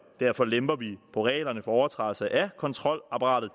og derfor lemper vi på reglerne for overtrædelse af kontrolapparatet